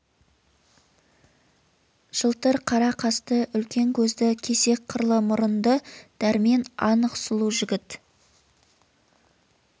жылтыр қара қасты үлкен көзді кесек қырлы мұрынды дәрмен анық сұлу жігіт